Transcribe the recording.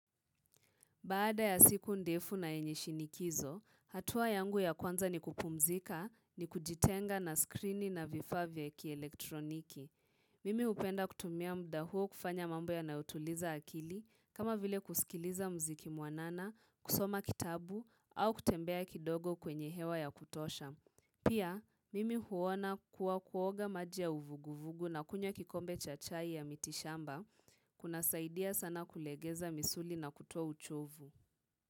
Baada ya siku ndefu na yenye shinikizo, hatua yangu ya kwanza ni kupumzika, ni kujitenga na skrini na vifaa vya kielektroniki. Mimi hupenda kutumia muda huo kufanya mambo yanayotuliza akili, kama vile kusikiliza mziki mwanana, kusoma kitabu, au kutembea kidogo kwenye hewa ya kutosha. Pia, mimi huona kuwa kuoga maji ya uvuguvugu na kunywa kikombe cha chai ya mitishamba kuna saidia sana kulegeza misuli na kutoa uchovu.